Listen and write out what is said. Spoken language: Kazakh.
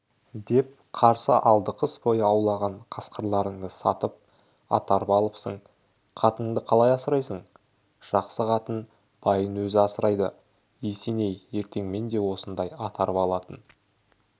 деп қарсы алдықыс бойы аулаған қасқырларыңды сатып ат-арба алыпсың қатыныңды қалай асырайсың жақсы қатын байын өзі асырайды есеней ертең мен де осындай ат-арба алатын